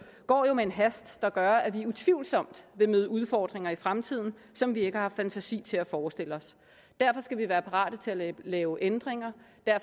går jo med en hast der gør at vi utvivlsomt vil møde udfordringer i fremtiden som vi ikke har haft fantasi til at forestille os derfor skal vi være parate til at lave ændringer